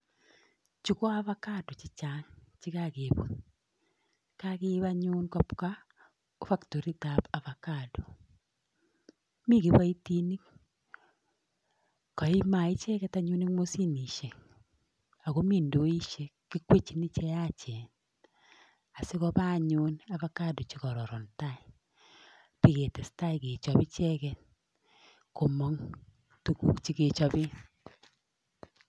Chu ko avacado chechang chekakeput. Kakeip anyun kobwa factoritap avacado. Mi kiboitinik icheket anyun eng mashinishek akomi ndoishek, kikwechini cheyachen asikopa anyun avacado chekororon tai piketestai kechop icheket komong tuguk chekechope.